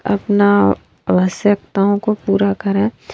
अपना आवश्यकताओं को पूरा करें।